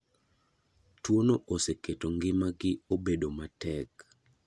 Tuono oseketo ng'ima gi obedo matek.